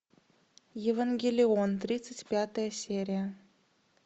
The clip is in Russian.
евангелион тридцать пятая серия